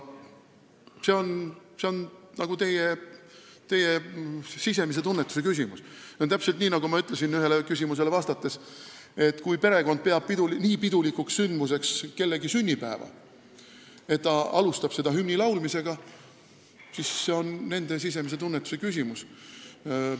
See on teie sisemise tunnetuse küsimus ja sellega on täpselt nii, nagu ma ütlesin ühele küsimusele vastates: kui perekond peab kellegi sünnipäeva nii pidulikuks sündmuseks, et nad alustavad seda hümni laulmisega, siis see on nende sisemise tunnetuse küsimus.